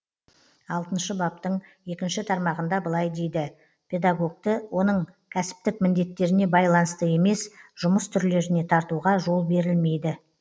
алтыншы баптың екінші тармағында былай дейді педагогті оның кәсіптік міндеттеріне байланысты емес жұмыс түрлеріне тартуға жол берілмейді